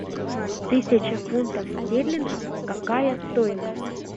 тысяча фунтов стерлингов какая стоимость